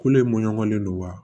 Kule in mɔɲɔgolen don wa